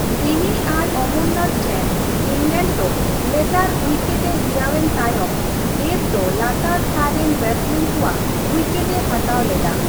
ᱵᱤᱱᱤ ᱟᱨ ᱚᱢᱚᱨᱱᱟᱛᱷ ᱴᱷᱮᱱ ᱤᱝᱞᱮᱱᱰ ᱫᱚ ᱞᱮᱛᱟᱲ ᱩᱭᱠᱮᱴᱼᱮ ᱦᱤᱨᱟᱹᱣ ᱮᱱ ᱛᱟᱭᱚᱢ ᱫᱮᱵ ᱫᱚ ᱞᱟᱛᱟᱨ ᱛᱷᱟᱨ ᱨᱮᱱ ᱵᱮᱴᱥᱢᱮᱱ ᱠᱩ ᱟᱜ ᱩᱭᱠᱮᱴᱼᱮ ᱦᱟᱛᱟᱣ ᱞᱮᱫᱟ ᱾